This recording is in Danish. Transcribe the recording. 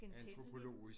Genkendeligt